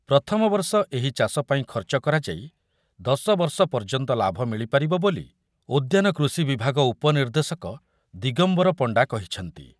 ପ୍ରଥମ ବର୍ଷ ଏହି ଚାଷ ପାଇଁ ଖର୍ଚ୍ଚ କରାଯାଇ ଦଶ ବର୍ଷ ପର୍ଯ୍ୟନ୍ତ ଲାଭ ମିଳିପାରିବ ବୋଲି ଉଦ୍ୟାନ କୃଷି ବିଭାଗ ଉପ ନିର୍ଦ୍ଦେଶକ ଦିଗମ୍ବର ପଣ୍ଡା କହିଛନ୍ତି ।